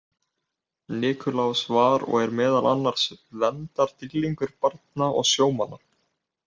Nikulás var og er meðal annars verndardýrlingur barna og sjómanna.